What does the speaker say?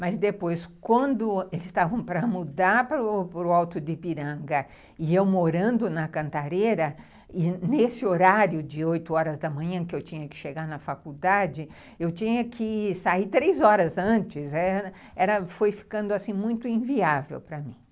Mas depois, quando eles estavam para mudar para para o Alto de Ipiranga e eu morando na Cantareira, e nesse horário de oito horas da manhã que eu tinha que chegar na faculdade, eu tinha que sair três horas antes, ãh, foi ficando assim, muito inviável para mim.